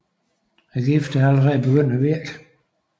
Giften er allerede begyndt at virke